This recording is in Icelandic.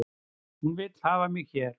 Hún vill hafa mig hér